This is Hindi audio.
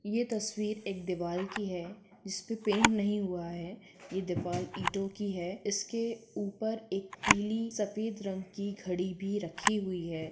ये तस्वीर एक दीवाल की है जिसपे पेंट नहीं हुआ है ये दीवाल ईटो की है इसके ऊपर एक पीली सफ़ेद रंग की घडी भी रखी हुई है।